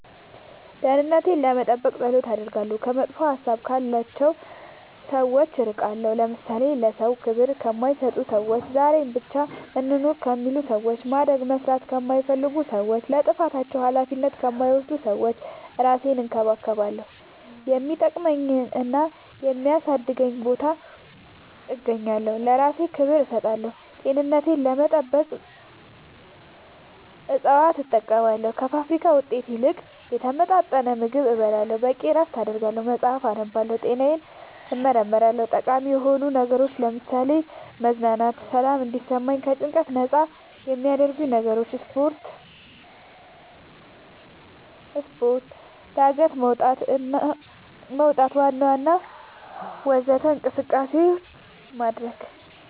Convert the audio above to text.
ደህንነቴን ለመጠበቅ ፀሎት አደርጋለሁ ከመጥፎ ሀሳብ ያላቸው ሰዎች እርቃለሁ ለምሳሌ ለሰዎች ክብር ከማይሰጡ ሰዎች ዛሬን ብቻ እንኑር ከሚሉ ሰዎች ማደግ መስራት ከማይፈልጉ ሰዎች ለጥፋታቸው አላፊነት ከማይወስዱ ሰዎች እራሴን እንከባከባለሁ የሚጠቅመኝና የሚያሳድገኝ ቦታ እገኛለሁ ለእራሴ ክብር እሰጣለሁ ጤንነቴን ለመጠበቅ እፅዋት እጠቀማለሁ ከፋብሪካ ውጤት ይልቅ የተመጣጠነ ምግብ እበላለሁ በቂ እረፍት አደርጋለሁ መፅአፍ አነባለሁ ጤናዬን እመረመራለሁ ጠቃሚ የሆኑ ነገሮች ለምሳሌ መዝናናት ሰላም እንዲሰማኝ ከጭንቀት ነፃ የሚያረጉኝ ነገሮች ስፓርት ጋደት መውጣት ዋና ወዘተ እንቅስቃሴ ማድረግ